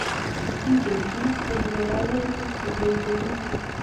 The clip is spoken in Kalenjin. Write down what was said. Mokingen kiit neing'ololen eng tuget nemi ngweny